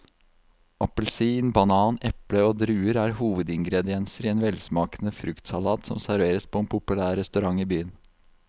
Appelsin, banan, eple og druer er hovedingredienser i en velsmakende fruktsalat som serveres på en populær restaurant i byen.